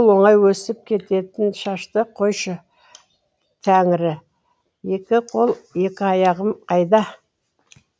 оңай өсіп кететін шашты қойшы тәңірі екі қол екі аяғым қайда